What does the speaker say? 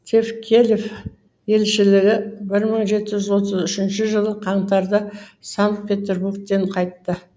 тевкелев елшілігі бір мың жеті жүз отыз үшінші жылы қаңтарда санкт петербургке қайтты